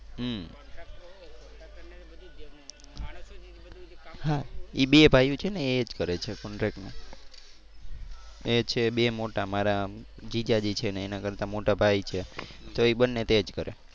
હા એ બે ભાઈયું છે ને એ એજ કરે છે contract નું. એ છે બે મોટા મારા જીજાજી છે ને એના કરતાં મોટા ભાઈ છે તો એ બંને તો એ જ કરે.